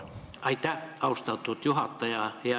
Aitäh, austatud juhataja!